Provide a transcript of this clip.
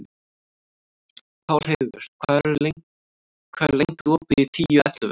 Pálheiður, hvað er lengi opið í Tíu ellefu?